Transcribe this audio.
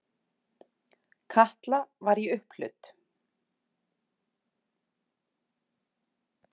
Kata var í upphlut.